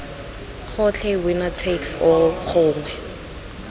gotlhe winner takes all gongwe